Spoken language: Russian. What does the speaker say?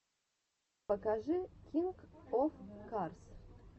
покажи кинг оф карс